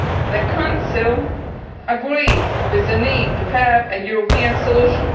The Council agrees with the need to have a European solution.